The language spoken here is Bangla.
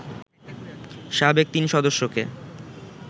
সাবেক তিন সদস্যকে